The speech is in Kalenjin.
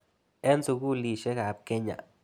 Eng' sukulisyek ap Kenya.